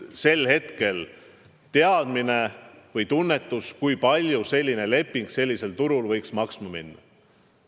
Sel hetkel oli ka teadmine või tunnetus, kui palju selline leping sellisel turul võiks maksma minna.